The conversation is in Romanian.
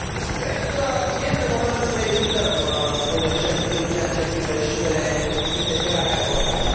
Cred că este momentul să evităm un eșec în ceea ce privește integrarea europeană.